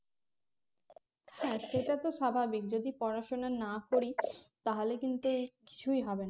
হ্যাঁ সেটাতো স্বাভাবিক যদি পড়াশোনা না করি তাহলে কিন্তু কিছুই হবে না